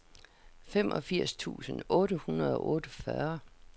femogfirs tusind otte hundrede og otteogfyrre